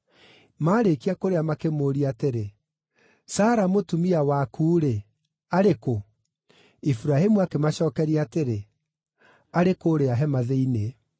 Maarĩkia kũrĩa makĩmũũria atĩrĩ, “Sara mũtumia waku-rĩ, arĩ kũ?” Iburahĩmu akĩmacookeria atĩrĩ, “Arĩ kũũrĩa hema thĩinĩ.”